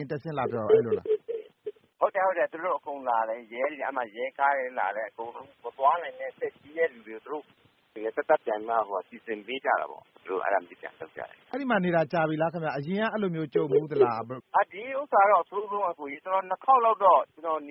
မ်တက်ဆင်းလာပြောတာပေါ့နော် ဟုတ်တယ် သူတို့အကုန်လာတယ် အဲဒီမှာ ရဲကားတွေလာတယ်။ မသွားနိုင်တဲ့ အသက်ကြီးတဲ့ လူတွေအကုန်လုံးကို စီစဉ်ပေးတယ်။ အဲဒီမှာနေတာကြာပြီလား အရင်ကရော အဲလိုကြုံဖူးသလား။ ဒီဟာကတော့ အဆိုးဆုံး ကျနော် Panama City beach မှာနေတာ ၂ ခေါက်လောက်တော့ ကျနော်